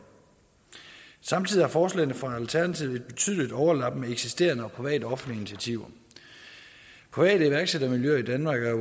samtidig har forslagene fra alternativet et betydeligt overlap med eksisterende private og offentlige initiativer private iværksættermiljøer i danmark er